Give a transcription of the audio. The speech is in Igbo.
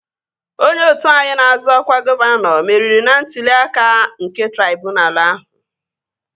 Onye otu anyị na-azọ ọkwa gọvanọ meriri n'ntụli aka nke traibunalu ahụ